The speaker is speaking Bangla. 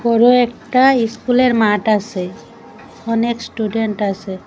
বড় একটা ইস্কুলের মাঠ আসে অনেক স্টুডেন্ট আসে।